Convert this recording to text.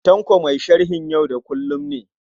Tanko mai sharhin yau da kullum ne.